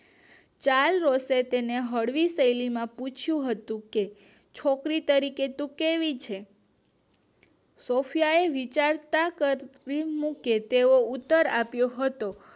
Child હોસ્ટટે તેને હળવી શૈલી માં પૂછ્યું હતું કે છોકરી તરીકે તું કેવી છે? સૉફયા એ વિચારતા કરી મૂકે તેવો ઉત્તર આપ્યો હતો